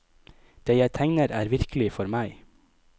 Det jeg tegner er virkelig for meg.